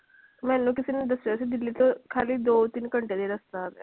ਮੈਨੂੰ ਕਿਸੇ ਨੇ ਦੱਸਿਆ ਸੀ ਦਿੱਲੀ ਤੋਂ ਖਾਲੀ ਦੋ ਤਿੰਨ ਘੰਟੇ ਦਾ ਹੀ ਰਸਤਾ ਹੈਗਾ ਹੈ।